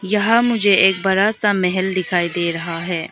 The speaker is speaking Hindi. यह मुझे एक बड़ा सा महल दिखाई दे रहा है।